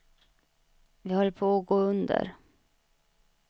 Vi höll på att gå under.